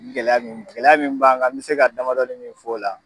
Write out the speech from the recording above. Nin gɛlɛya nunnu, gɛlɛya mun b'an kan n be se ka damadɔnin min f'o la